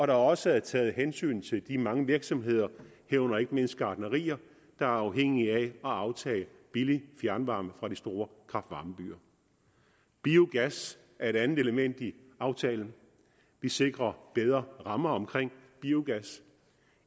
der også er taget hensyn til de mange virksomheder herunder ikke mindst gartnerier der er afhængige af at aftage billig fjernvarme fra de store kraft varme byer biogas er et andet element i aftalen vi sikrer bedre rammer omkring biogas